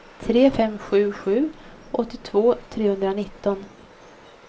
tre fem sju sju åttiotvå trehundranitton